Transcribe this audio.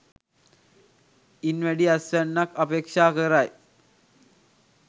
ඉන් වැඩි අස්වැන්නක් අපේක්ෂා කරයි.